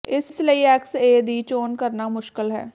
ਇਸ ਲਈ ਏਕਸ ਏ ਦੀ ਚੋਣ ਕਰਨਾ ਮੁਸ਼ਕਲ ਹੈ